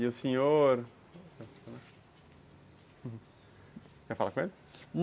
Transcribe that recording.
E o senhor... Quer falar com ele?